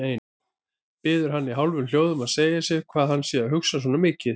Biður hann í hálfum hljóðum að segja sér hvað hann sé að hugsa svona mikið.